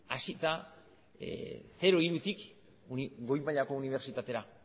hasita zero hirutik goi mailako unibertsitatera